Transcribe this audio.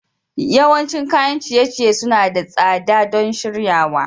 Yawancin kayan ciye-ciye suna da tsada don shiryawa.